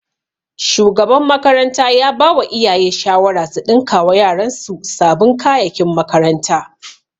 Shugaban makaranta ya bawa iyaye shawara su ɗinkawa yaran su sabin kayakin makaranta